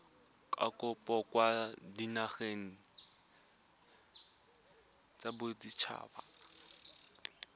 kopo kwa dinageng tsa baditshaba